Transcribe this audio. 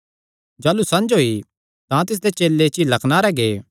जाह़लू संझ होई तां तिसदे चेले झीला कनारे गै